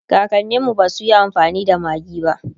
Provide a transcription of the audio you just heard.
kakaninmu basuyi amfani da maggi ba